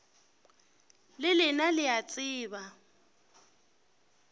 le lena le a tseba